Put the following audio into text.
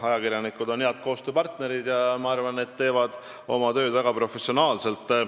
Ajakirjanikud on head koostööpartnerid ja ma arvan, et nad teevad oma tööd väga professionaalselt.